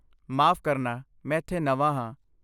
ਮਾਫ਼ ਕਰਨਾ, ਮੈਂ ਇੱਥੇ ਨਵਾਂ ਹਾਂ।